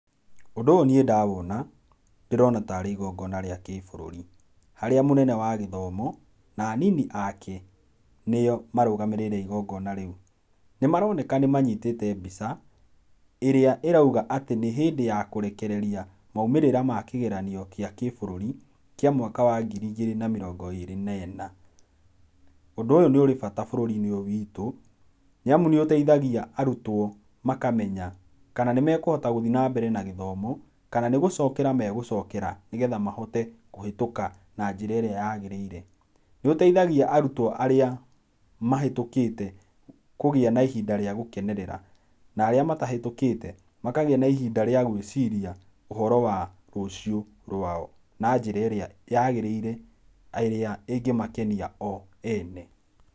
Ũndũ ũyũ niĩ ndawona, ndĩrona tarĩ igongona rĩa kĩbũrũri. Harĩa mũnene wa gĩthomo na anini ake nĩo marũgamĩrĩire igongona rĩũ. Nĩmaroneka nĩmanyitĩte mbica, ĩrĩa ĩraũga atĩ nĩ hĩndĩ ya kũrekereria maũmĩrĩra ma kĩgeranio kĩa kĩbũrũri, kĩa mwaka wa ngiri igĩrĩ na mĩrongo ĩrĩ na ĩna. Ũndũ ũyũ nĩ ũrĩ bata bũrũri-inĩ ũyũ witũ nĩamũ nĩũteithagia arũtwo makamenya kana nĩmekũhota gũthi nambere na gĩthomo kana nĩ gũcokera megũcokera nĩgetha mahote kũhetũka na njĩra ĩrĩa yagĩrĩire. Nĩũteithagia arĩtwo arĩa mahetũkĩte kũgĩa na ihinda rĩa gũkenerera, na arĩa matahetũkĩte makagĩa na ihinda rĩa gwĩciria ũhoro wa rũciũ rũao na njĩra ĩrĩa yagĩrĩire, na ĩrĩa ĩngĩmakenia o ene.